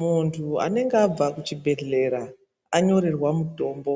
Muntu anenge abva ku chibhedhleya anyorerwa mutombo